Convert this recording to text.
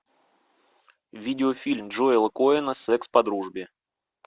видеофильм джоэла коэна секс по дружбе